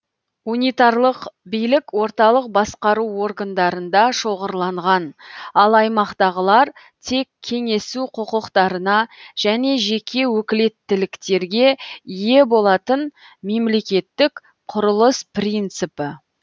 унитарлық билік орталық басқару органдарында шоғырланған ал аймақтағылар тек кенесу құқықтарына және жеке өкілеттіліктерге ие болатын мемлекеттік құрылыс принципі